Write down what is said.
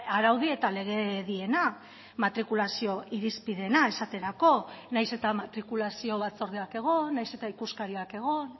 araudi eta legediena matrikulazio irizpideena esaterako nahiz eta matrikulazio batzordeak egon nahiz eta ikuskariak egon